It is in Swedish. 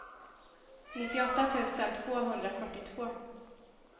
nittioåtta tusen tvåhundrafyrtiotvå